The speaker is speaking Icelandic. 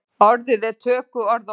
Orðið er tökuorð í íslensku.